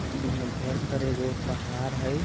ई हमरा घर तर एगो पहाड़ हई।